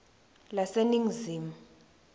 laseningizimu